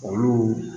Olu